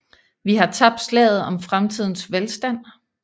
Vi har tabt slaget om fremtidens velstand